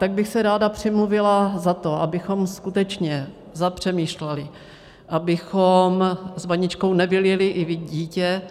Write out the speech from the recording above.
Tak bych se ráda přimluvila za to, abychom skutečně zapřemýšleli, abychom s vaničkou nevylili i dítě,